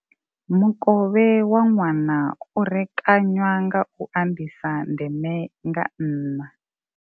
Mukovhe wa ṅwana u rekanywa nga u anḓisa ndeme nga nṋa.